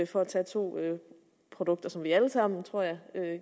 for at tage to produkter som vi alle sammen tror jeg